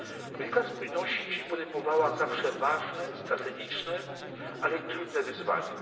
Polityka spójności podejmowała zawsze ważne, strategiczne, ale i trudne wyzwania.